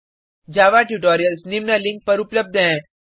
जावा tutorials निम्न link पर उपलब्ध हैं